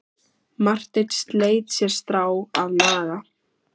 Marteinn sleit sér strá að naga.